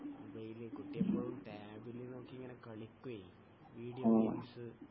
ആ മൊബൈൽ കുട്ടി ഇപ്പൊ ടാബിൽ നോക്കി ഇങ്ങനെ കളിക്കുവേ വീഡിയോ ഗെയിംസ്